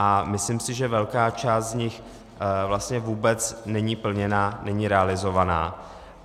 A myslím si, že velká část z nich vlastně vůbec není plněna, není realizována.